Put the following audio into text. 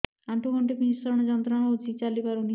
ଆଣ୍ଠୁ ଗଣ୍ଠି ଭିଷଣ ଯନ୍ତ୍ରଣା ହଉଛି ଚାଲି ପାରୁନି